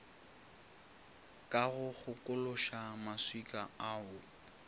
ka go kgokološa maswika ao